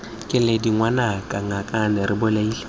keledi ngwanaka ngakane re bolaile